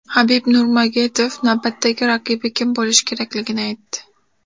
Habib Nurmagomedov navbatdagi raqibi kim bo‘lishi kerakligini aytdi.